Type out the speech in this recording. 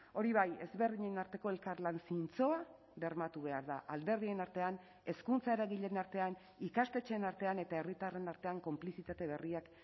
hori bai ezberdinen arteko elkarlan zintzoa bermatu behar da alderdien artean hezkuntza eragileen artean ikastetxeen artean eta herritarren artean konplizitate berriak